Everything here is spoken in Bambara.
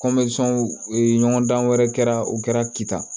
ɲɔgɔndan wɛrɛ kɛra u kɛra kita